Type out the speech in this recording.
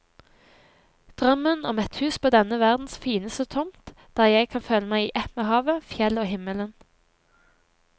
Drømmen om et hus på denne verdens fineste tomt, der jeg kan føle meg i ett med havet, fjellet og himmelen.